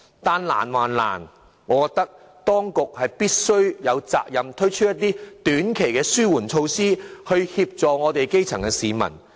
雖然很困難，但我認為當局有責任推出一些短期的紓緩措施協助基層市民。